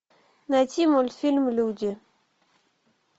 найти мультфильм люди